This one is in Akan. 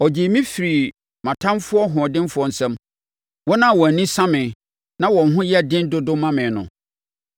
Ɔgyee me firii me ɔtamfoɔ hoɔdenfoɔ nsam, wɔn a wɔn ani sa me, na wɔn ho yɛ den dodo ma me no.